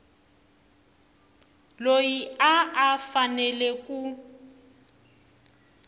loyi a a fanele ku